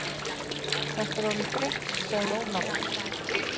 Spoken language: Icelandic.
Þetta er orðið þreytt, sagði Ólafur.